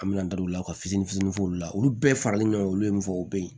An bɛna da u la ka fitini fitini f'olu la olu bɛɛ faralen ɲɔgɔn ye u bɛ ye